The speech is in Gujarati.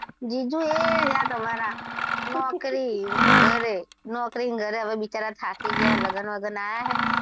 જીજું એ રહ્યાં તમારાં નોકરી ઘરે, નોકરી ઘરે હવે બિચારાં થાકી ગયાં છે લગ્ન વગ્ન આયા હે.